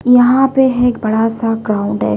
यहां पे एक बड़ासा ग्राउन्ड है।